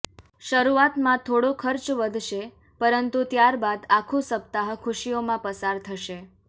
શરૂઆતમાં થોડો ખર્ચ વધશે પરંતુ ત્યારબાદ આખું સપ્તાહ ખુશીઓમાં પસાર થશે